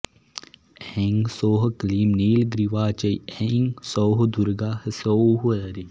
ऐं सौः क्लीं नीलग्रीवा च ऐं सौः दुर्गा ह्सौः दरी